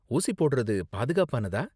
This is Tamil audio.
ஊசி போடுறது பாதுகாப்பானதா?